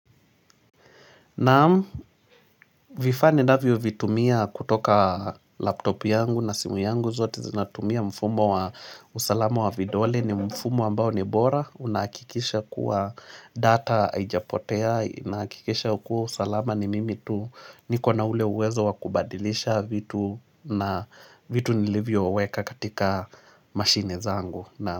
Naam vifaa ninavyo vitumia kutoka laptopu yangu na simu yangu zote zinatumia mfumo wa usalama wa vidole ni mfumo ambao ni bora Unahakikisha kuwa data haijapotea, inakikisha kuwa usalama ni mimi tu niko na ule uwezo wa kubadilisha vitu na vitu nilivyo weka katika mashine zangu.